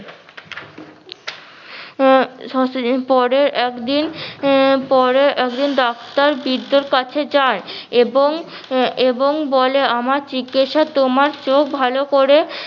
আহ কিছুদিন পরে একদিন পরে একদিন ডাক্তার বৃদ্ধের কাছে যায় এবং এবং বলে আমার চিকিৎসা তোমার চোখ ভালো করে